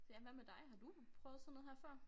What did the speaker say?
Ja hvad med dig har du prøvet sådan noget her før?